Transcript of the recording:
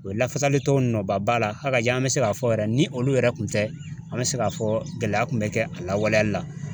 O ye lafasali tɔ nɔba b'a la hakaja an mɛ se k'a fɔ yɛrɛ ni olu yɛrɛ kun tɛ an mɛ se k'a fɔ gɛlɛya kun bɛ kɛ a lawaleyali la.